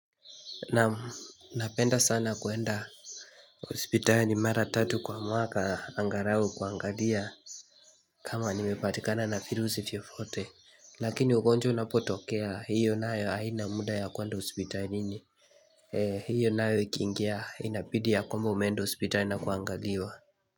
Naam, napenda sana kwenda hospitali mara tatu kwa mwaka angalau kuangalia kama nimepatikana na filusi fiofote. Lakini ugonjwa unapotokea hiyo nayo haina muda ya kwenda hospitalini eeeh hiyo nayo ikiingia inabidi ya kwamba umeenda hospitali na kuangaliwa.